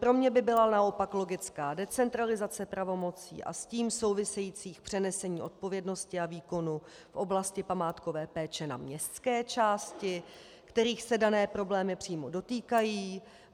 Pro mě by byla naopak logická decentralizace pravomocí a s tím souvisejících přenesení odpovědnosti a výkonu v oblasti památkové péče na městské části, kterých se dané problémy přímo dotýkají.